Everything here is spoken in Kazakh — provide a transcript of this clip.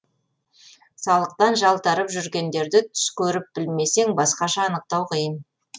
салықтан жалтарып жүргендерді түс көріп білмесең басқаша анықтау қиын